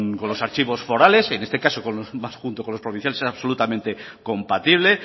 con los archivos forales en este caso con más junto con los provinciales es absolutamente compatible